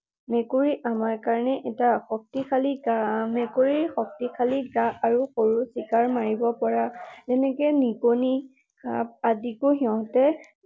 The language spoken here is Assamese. মেকুৰী আমাৰ কাৰণে এটা শক্তিশালী, মেকুৰীৰ শক্তিশালী গা আৰু সৰু চিকাৰ মাৰিব পৰা, যেনেকৈ নিগনি, সাপ আদিকো সিহঁতে